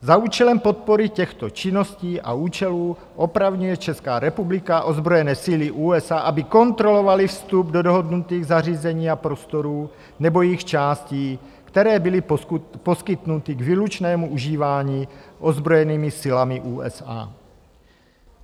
Za účelem podpory těchto činností a účelů opravňuje Česká republika ozbrojené síly USA, aby kontrolovaly vstup do dohodnutých zařízení a prostorů nebo jejich částí, které byly poskytnuty k výlučnému užívání ozbrojenými silami USA.